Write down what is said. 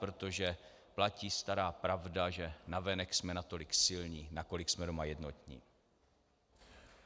Protože platí stará pravda, že navenek jsme natolik silní, nakolik jsme doma jednotní.